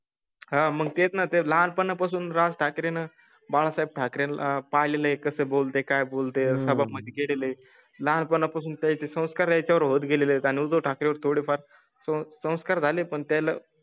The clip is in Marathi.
हां मग तेच ना ते लहानपणापासून राज ठाकरेंना बाळासाहेब ठाकरे ला पाहिले कसं बोलतोय काय बोलतोय असं मध्ये गेले लहानपणापासून त्याचे संस्कार त्यांच्या वर होत गेले आणि उद्धव ठाकरें वर थोडेफार संस्कार झाले पण त्याला